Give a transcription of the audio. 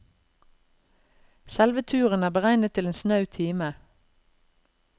Selve turen er beregnet til en snau time.